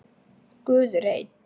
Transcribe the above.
Guð er einn.